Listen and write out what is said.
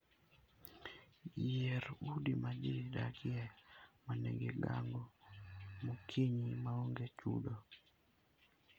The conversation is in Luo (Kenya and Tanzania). Yier udi ma ji dakie ma nigi gago mokinyi maonge chudo.